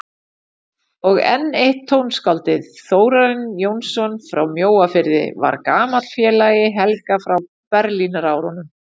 Og enn eitt tónskáldið, Þórarinn Jónsson frá Mjóafirði, var gamall félagi Helga frá Berlínarárunum.